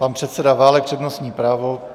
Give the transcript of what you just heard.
Pan předseda Válek, přednostní právo.